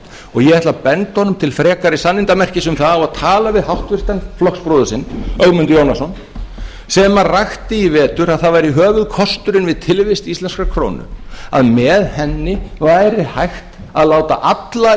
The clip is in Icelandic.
og ég ætla að benda honum til frekari sannindamerkis um það að tala við háttvirta flokksbróður sinn ögmund jónasson sem rakti í vetur að það væri höfuðkosturinn við tilvist íslenskrar krónu að með henni væri hægt að láta alla